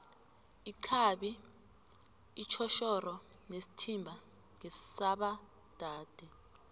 ixhabi itjhoshoro nesithimba ngesaba dade